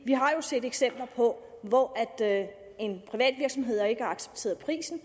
vi har jo set eksempler på at en privat virksomhed ikke har accepteret prisen